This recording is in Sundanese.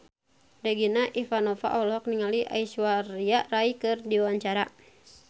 Regina Ivanova olohok ningali Aishwarya Rai keur diwawancara